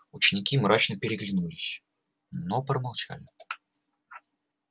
ученики мрачно переглянулись но промолчали